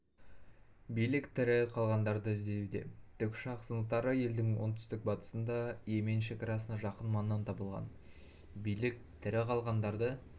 билік тірі қалғандарды іздеуде тікұшақ сынықтары елдің оңтүстік-батысында йемен шекарасына жақын маңнан табылған билік тірі қалғандарды